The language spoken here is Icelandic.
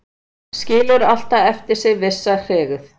Skilur alltaf eftir sig vissa hryggð